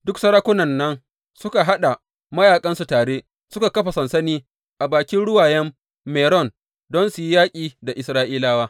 Duk sarakunan nan suka haɗa mayaƙansu tare, suka kafa sansani a bakin Ruwayen Meron don su yi yaƙi da Isra’ilawa.